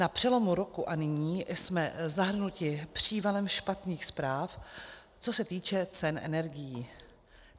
Na přelomu roku a nyní jsme zahrnuti přívalem špatných zpráv, co se týče cen energií.